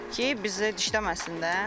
Ki bizi dişləməsin də.